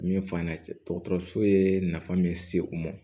Min f'an yɛnɛ dɔgɔtɔrɔso ye nafa min se u ma